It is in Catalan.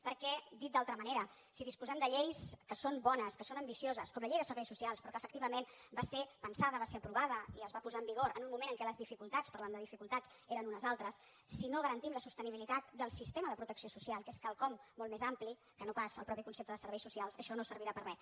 perquè dit d’altra manera si disposem de lleis que són bones que són ambicioses com la llei de serveis socials però que efectivament va ser pensada va ser aprovada i es va posar en vigor en un moment en què les dificultats parlant de dificultats eren unes altres si no garantim la sostenibilitat del sistema de protecció social que és quelcom molt més ampli que no pas el mateix concepte de serveis socials això no servirà per a res